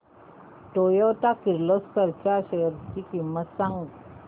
Toyota Kirloskar च्या shares ची किंमत सांग